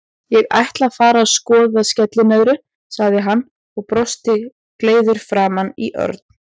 Ég ætla að fara að skoða skellinöðru, sagði hann og brosti gleiður framan í Örn.